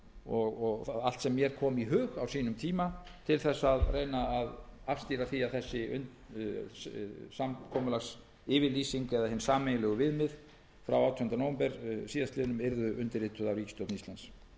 og allt sem mér kom í hug á sínum tíma til að reyna að afstýra því að þessi samkomulagsyfirlýsing eða hin sameiginlegu viðmið frá átjándu nóvember síðastliðinn yrði undirrituð af ríkisstjórn íslands